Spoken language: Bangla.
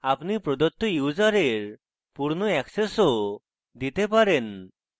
আপনি প্রদত্ত ইউসারের পূর্ণ অ্যাক্সেসও দিতে পারেন